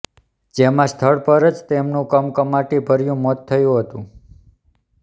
જેમાં સ્થળ પર જ તેમનું કમકમાટીભર્યું મોત થયું હતું